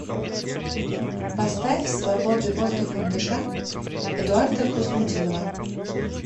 поставь свободы воздухом дыша эдуарда хуснутдинова